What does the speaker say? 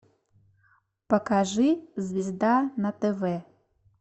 покажи звезда на тв